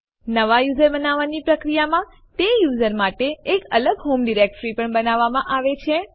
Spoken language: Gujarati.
નવા યુઝર બનાવવાની પ્રક્રિયામાં તે યુઝર માટે એક અલગ હોમ ડિરેક્ટરી પણ બનાવવામાં આવે છે